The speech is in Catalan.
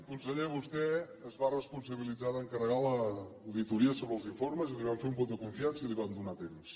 conseller vostè es va responsabilitzar d’encarregar l’auditoria sobre els informes i li vam fer un vot de confiança i li vam donar temps